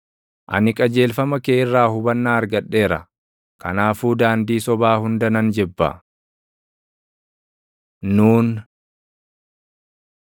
Ani qajeelfama kee irraa hubannaa argadheera; kanaafuu daandii sobaa hunda nan jibba. נ Nuun